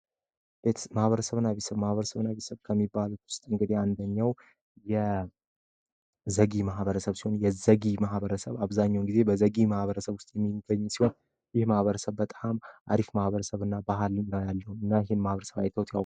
ቤተሰብ እና ማህበረሰብ ቤተሰብ እና ማህበረሰብ ከሚባሉት ውስጥ አንደኛው የዘጌ ማህበረሰብ አብዛኛውን ጊዜ በዘጌ ማህበረሰብ ውስጥ የሚገኝ ሲሆን ይህ ማህበረሰብ በጣም አሪፍ ባህልም ያለው ነዉ። ይህን ማህበረሰብ አይተውት ያውቃሉ?